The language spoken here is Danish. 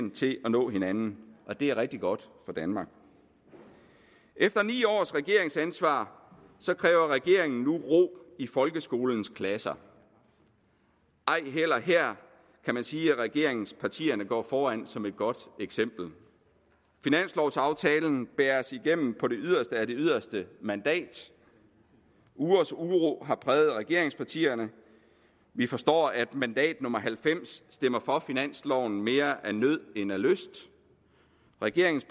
til at nå hinanden og det er rigtig godt for danmark efter ni års regeringsansvar kræver regeringen nu ro i folkeskolens klasser ej heller her kan man sige at regeringspartierne går foran som et godt eksempel finanslovaftalen bæres igennem på det yderste af det yderste mandat ugers uro har præget regeringspartierne vi forstår at mandat nummer halvfems stemmer for finansloven mere af nød end af lyst regeringens